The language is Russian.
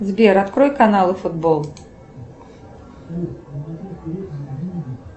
сбер открой каналы футбол